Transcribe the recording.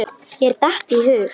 Mér datt í hug.